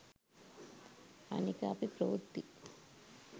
අනික අපි ප්‍රවෘත්ති